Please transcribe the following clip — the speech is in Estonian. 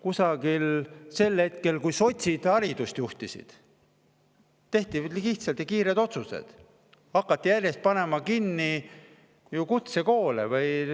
Mingil hetkel, kui sotsid haridust juhtisid, tehti lihtsad ja kiired otsused, hakati järjest kutsekoole kinni panema.